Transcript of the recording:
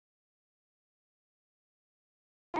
Það þyrmdi yfir hann.